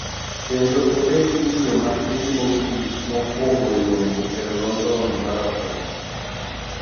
Kendo obed miyo matin mogik mokwongo yombo e London Marathon